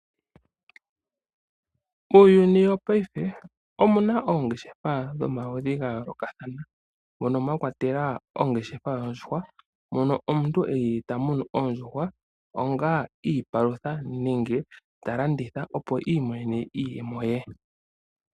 Uuyuni wopaife omuna oongeshefa dhomaludhi ga yoolokathana mono mwa kwatelwa ongeshefa yoondjuhwa, mono omuntu eli ta munu oondjuhwa onga iipalutha nenge ta landitha opo iimonene iiyemo ye.